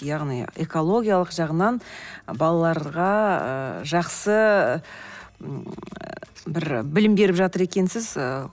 яғни экологиялық жағынан балаларға ы жақсы бір білім беріп жатыр екенсіз ыыы